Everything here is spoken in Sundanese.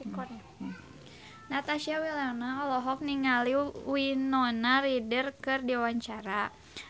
Natasha Wilona olohok ningali Winona Ryder keur diwawancara